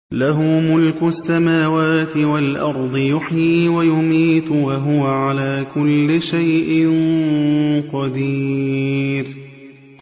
لَهُ مُلْكُ السَّمَاوَاتِ وَالْأَرْضِ ۖ يُحْيِي وَيُمِيتُ ۖ وَهُوَ عَلَىٰ كُلِّ شَيْءٍ قَدِيرٌ